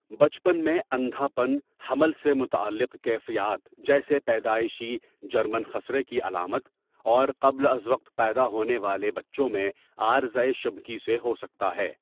بچپن میں اندھا پن حمل سے متعلق کیفیات جیسے پیدائشی جرمن خسرہ کی علامت اور قبل از وقت پیدا ہونے والے بچوں میں عارضۂ شبکی سے ہو سکتا ہے۔